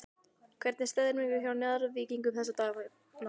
Hvernig er stemningin hjá Njarðvíkingum þessa dagana?